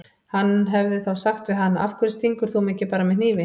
Hann hefði þá sagt við hana: Af hverju stingur þú mig ekki bara með hnífi?